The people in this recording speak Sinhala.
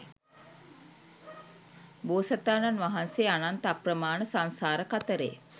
බෝසතාණන් වහන්සේ අනන්ත අප්‍රමාණ සංසාර කතරේ